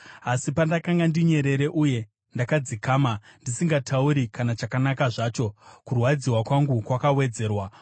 Asi pandakanga ndinyerere uye ndakadzikama, ndisingatauri kana chakanaka zvacho, kurwadziwa kwangu kwakawedzerwa.